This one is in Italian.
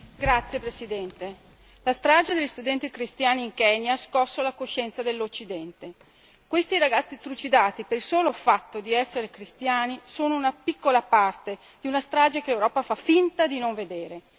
Signor Presidente, onorevoli colleghi, la strage degli studenti cristiani in Kenya ha scosso la coscienza dell'Occidente. Questi ragazzi trucidati per il solo fatto di essere cristiani sono una piccola parte di una strage che l'Europa fa finta di non vedere.